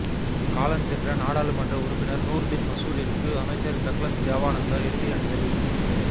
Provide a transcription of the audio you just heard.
காலஞ்சென்ற நாடாளுமன்ற உறுப்பினர் நூர்தீன் மசூரிற்கு அமைச்சர் டக்ளஸ் தேவானந்தா இறுதி அஞ்சலி